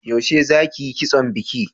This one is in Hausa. Yaushe za ki yi kitson biki?